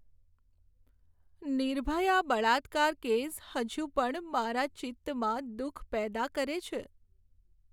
નિર્ભયા બળાત્કાર કેસ હજુ પણ મારા ચિત્તમાં દુઃખ પેદા કરે છે.